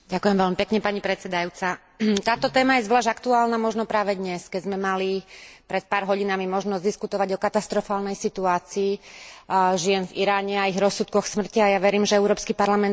Táto téma je zvlášť aktuálna možno práve dnes, keď sme mali pred pár hodinami možnosť diskutovať o katastrofálnej situácii žien v Iráne a ich rozsudkoch smrti, a ja verím, že Európsky parlament vyšle silné posolstvo v tejto veci.